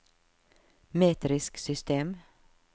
metrisk system